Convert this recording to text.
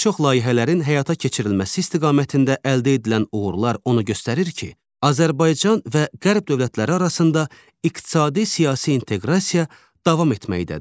Bir çox layihələrin həyata keçirilməsi istiqamətində əldə edilən uğurlar onu göstərir ki, Azərbaycan və Qərb dövlətləri arasında iqtisadi-siyasi inteqrasiya davam etməkdədir.